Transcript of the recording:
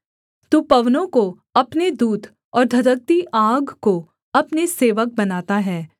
तू पवनों को अपने दूत और धधकती आग को अपने सेवक बनाता है